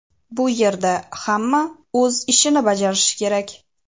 Bu yerda hamma o‘z ishini bajarishi kerak.